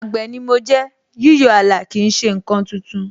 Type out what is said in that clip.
Àgbè ni mo jẹ́, yíyọ ààlà kì í ṣe ǹkan tuntun